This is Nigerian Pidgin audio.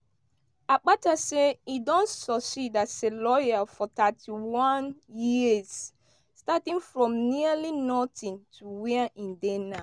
akpata say im don succeed as a lawyer for 31 years starting from nearly notin to wia im dey now.